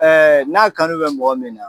n'a kanu bɛ mɔgɔ min na.